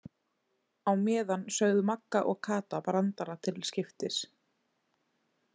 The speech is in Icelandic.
Á meðan sögðu Magga og Kata brandara til skiptis.